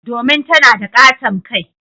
Domin tana da katon kai.